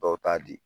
Dɔw t'a di